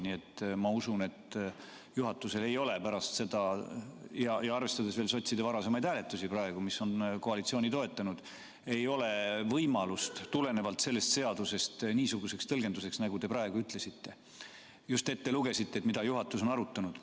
Nii et ma usun, et juhatusel ei ole pärast seda – arvestades veel sotside varasemaid hääletusi, mis on koalitsiooni toetanud – võimalust tulenevalt sellest seadusest niisuguseks tõlgenduseks, nagu te praegu ütlesite ja mis te just ette lugesite selle kohta, mida juhatus on arutanud.